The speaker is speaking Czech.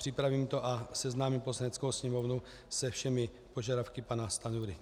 Připravím to a seznámím Poslaneckou sněmovnu se všemi požadavky pana Stanjury.